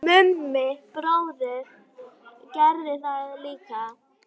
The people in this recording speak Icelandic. Mummi bróðir gerði það líka.